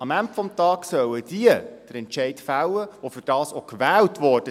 Am Ende des Tages sollen diejenigen den Entscheid fällen, die dafür gewählt wurden.